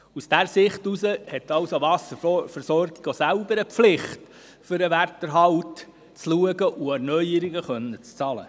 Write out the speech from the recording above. So gesehen ist es klar, dass die Wasserversorgung auch selber in der Pflicht steht, sich um den Werterhalt zu kümmern und Erneuerungen bezahlen zu können.